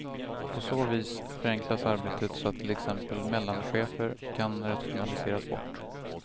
På så vis förenklas arbetet så att till exempel mellanchefer kan rationaliseras bort.